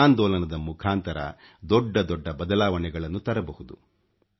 ಜನಾಂದೋಲನದ ಮುಖಾಂತರ ದೊಡ್ದ ದೊಡ್ಡ ಬದಲಾವಣೆಗಳನ್ನು ತರಬಹುದು